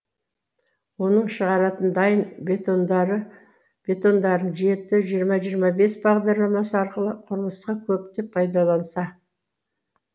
оның шығаратын дайын бетондарын жеті жиырма жиырма бес бағдарламасы арқылы құрылысқа көптеп пайдаланса